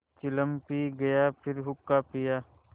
चिलम पी गाया फिर हुक्का पिया